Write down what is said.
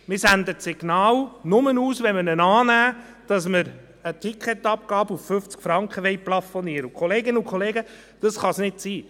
Wenn wir ihn annehmen, senden wir nur das Signal aus, dass wir eine Flugticketabgabe auf 50 Franken plafonieren wollen, und, Kolleginnen und Kollegen, das kann es nicht sein.